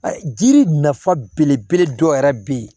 A jiri nafa belebele dɔ yɛrɛ bɛ yen